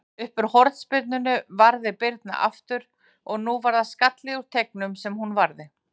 Uppúr hornspyrnunni varði Birna aftur, en nú var það skalli úr teignum sem hún varði.